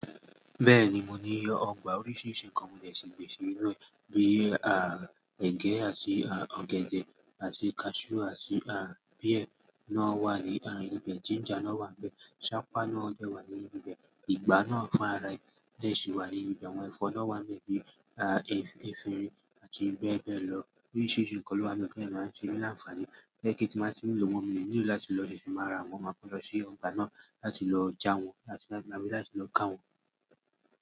Bẹ́ẹ̀ni, mo ní ọgbà oríṣiríṣi nǹkan mọ dè ṣi gbin sìnu e bii, à, ẹ̀gẹ́ àti, à, ọ̀gẹ̀dẹ̀ àti cashew àti, à, pear náà wà ní, à, ibẹ̀, ginger náà wà níbẹ̀. Iṣapá náà dẹ́ wà ní ibi bẹ̀. Ìgbá náà fún ara ẹni yẹn sì wà ní ibẹ̀. Àwọn ẹ̀fọ́ náà wà níbẹ̀ bíi, à, ẹ́, efirin àti bẹ́ẹ̀ bẹ́ẹ̀ lọ. Oríṣiríṣi nǹkan ló máa ń ṣe nílàfààní. Gẹ́gẹ́ tí mo bá ti lò wọ́n mìíràn nílò láti lọ dẹ́ ìṣù màrà, mo máa pa lọ sí ọgbà náà láti lọ já wọn láti, láti lọ ká wọn.